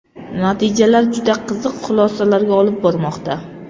Natijalar juda qiziq xulosalarga olib bormoqda.